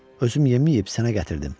Özüm yeməyib sənə gətirdim.